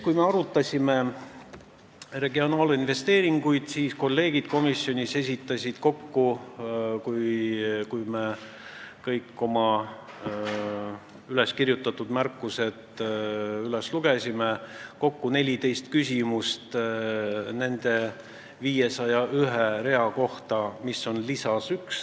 Kui me arutasime regionaalinvesteeringuid, siis esitasid kolleegid komisjonis – kui kõik meie üleskirjutatud märkused üles lugeda – kokku 14 küsimust nende 501 rea kohta, mis on lisas 1.